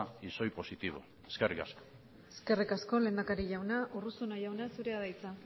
y soy positivo eskerrik asko eskerrik asko lehendakari jauna urruzuno jauna zurea da hitza